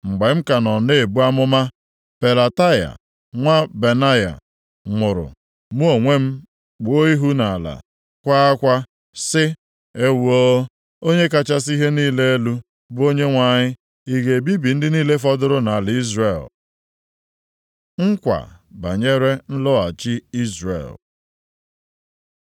Mgbe m ka nọ na-ebu amụma, Pelataya nwa Benaya nwụrụ. Mụ onwe m kpuo ihu m nʼala kwaa akwa sị, “Ewoo, Onye kachasị ihe niile elu, bụ Onyenwe anyị ị ga-ebibi ndị niile fọdụrụ nʼala Izrel?” Nkwa banyere nlọghachi Izrel